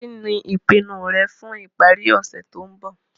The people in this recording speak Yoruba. Kí ní ìpinu rẹ fun ìparí ọ̀sẹ̀ to n bo